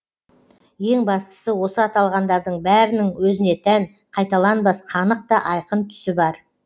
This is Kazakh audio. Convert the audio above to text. ең бастысы осы аталғандардың бәрінің өзіне тән қайталанбас қанық та айқын түсі бар